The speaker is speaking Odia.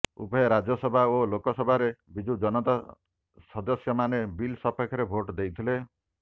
ଉଭୟ ରାଜ୍ୟସଭା ଓ ଲୋକସଭାରେ ବିଜୁଜନତା ସଦସ୍ୟମାନେ ବିଲ ସପକ୍ଷରେ ଭୋଟ ଦେଇଥିଲେ